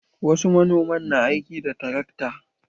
Wasu manoman na aiki da tarakta.